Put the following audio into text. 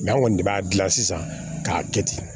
an kɔni ne b'a dilan sisan k'a kɛ ten